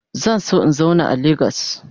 Zan so in zauna a lagos.